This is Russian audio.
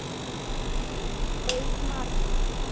бэйсмаркет